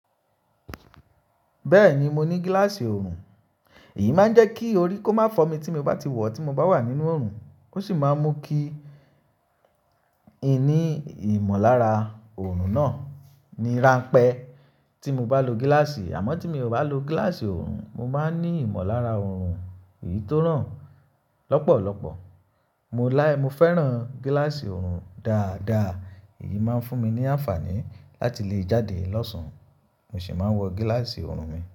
Bẹ́ẹ̀ni, mo ní gílàsì ọrùn, èyí máa ń jẹ́ kí orí kó má fọ́ mi tí mo bá ti wọ̀ tí mo bá wà nínú ọrùn. Ó sì máa ń mú kí n ní ìmọ̀lára ọrùn náà ní ránpẹ́ tí mo bá lo gílàsì. Àmọ́ tí mi ò bá lo gílàsì ọrùn, mo máa ń ní ìmọ̀lára ọrùn èyí tó ràn lọ́pọ̀lọpọ̀. Mọ fẹ́ràn gilasi ọ̀run daadaa. Èyí máa ń fún mi ní àǹfààní láti lè jáde lọ́sàn-án. Mo sì máa ń wọ gílàsì ọrùn mi.